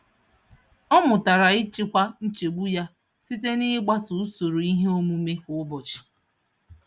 Ọ mụtara ịchịkwa nchegbu ya site n'ịgbaso usoro ihe omume kwa ụbọchị.